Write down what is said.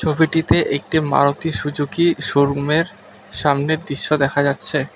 ছবিটিতে একটি মারুতি সুজুকি শোরুমের সামনের দৃশ্য দেখা যাচ্ছে।